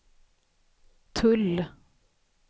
tull